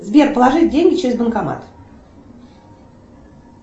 сбер положи деньги через банкомат